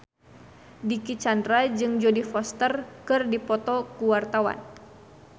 Dicky Chandra jeung Jodie Foster keur dipoto ku wartawan